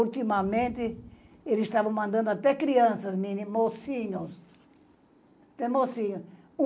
Ultimamente, eles estavam mandando até crianças, meninos, mocinhos que mocinhos